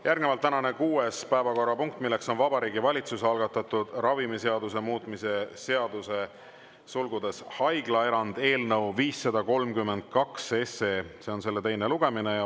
Järgnevalt tänane kuues päevakorrapunkt: Vabariigi Valitsuse algatatud ravimiseaduse muutmise seaduse eelnõu 532 teine lugemine.